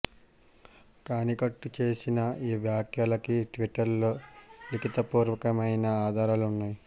కానీ కట్జూ చేసిన ఈ వ్యాఖ్యలకి ట్వీటర్ లో లిఖితపూర్వకమైన ఆధారాలు ఉన్నాయి